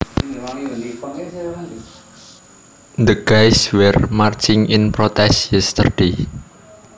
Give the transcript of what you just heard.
The gays were marching in protest yesterday